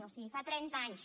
o sigui fa trenta anys